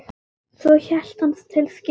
Svo hélt hann til skips.